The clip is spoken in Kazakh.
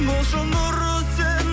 болшы нұры сен